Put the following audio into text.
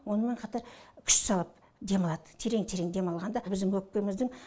онымен қатар күш салып демалады терең терең демалғанда біздің өкпеміздің